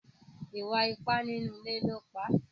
Ìwà ipá nínú ilé ló pa.